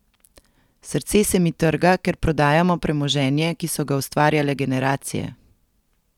Srce se mi trga, ker prodajamo premoženje, ki so ga ustvarjale generacije.